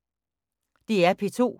DR P2